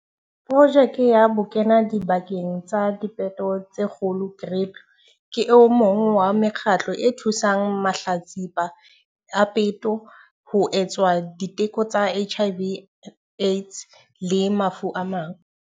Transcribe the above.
Projeke ya Bokenadipakeng ba Dipeto tse Kgolo, GRIP, ke o mong wa mekgatlo e thusang mahlatsipa a peto ho etswa diteko tsa HIV Aids le mafu a mang.